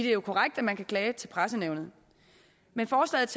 er jo korrekt at man kan klage til pressenævnet men forslaget